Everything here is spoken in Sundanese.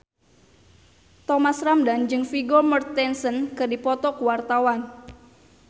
Thomas Ramdhan jeung Vigo Mortensen keur dipoto ku wartawan